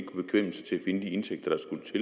en it